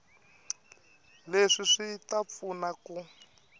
leswi swi ta pfuna ku